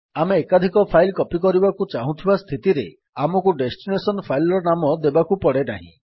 ଆମେ ଏକାଧିକ file copy କରିବାକୁ ଚାହୁଁଥିବା ସ୍ଥିତିରେ ଆମକୁ ଡେଷ୍ଟିନେସନ୍ ଫାଇଲ୍ ର ନାମ ଦେବାକୁ ପଡେନାହିଁ